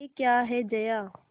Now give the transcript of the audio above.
यह क्या है जया